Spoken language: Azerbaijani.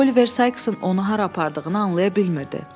Oliver Sykesın onu hara apardığını anlaya bilmirdi.